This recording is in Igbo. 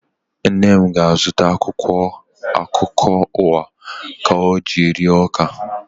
Nne m ga-azụta akwụkwọ akụkọ ụwa ọ ga-eji ree ọka